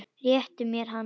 Réttu mér hana